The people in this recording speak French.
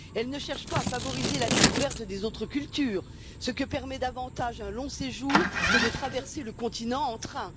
Elle ne cherche pas à favoriser la découverte des autres cultures, ce que permet davantage un long séjour que de traverser le continent en train.